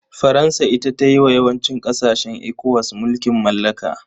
Faransa ita ta yi wa yawancin ƙasashen ECOWAS mulkin mallaka.